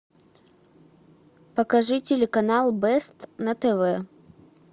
покажи телеканал бест на тв